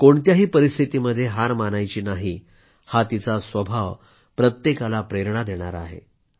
कोणत्याही परिस्थितीमध्ये हार मानायची नाही हा तिचा स्वभाव प्रत्येकाला प्रेरणा देणारा आहे